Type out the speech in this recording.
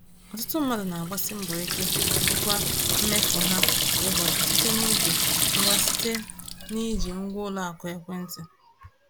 Ọtụtụ mmadụ na-agbasi mbọ ike ijikwa mmefu ha kwa ụbọchị site n’iji ngwa site n’iji ngwa ụlọ akụ ekwentị.